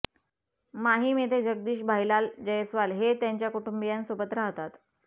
माहीम येथे जगदीश भाईलाल जयस्वाल हे त्यांच्या कुटुंबियांसोबत राहतात